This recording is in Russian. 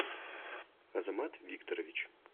азамат викторович